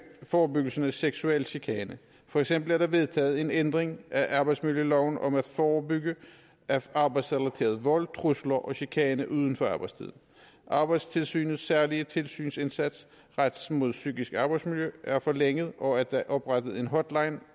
forebyggelse af seksuel chikane for eksempel er der vedtaget en ændring af arbejdsmiljøloven om at forebygge arbejdsrelateret vold trusler og chikane uden for arbejdstiden arbejdstilsynets særlige tilsynsindsatser rettet mod psykisk arbejdsmiljø er forlænget og der er oprettet en hotline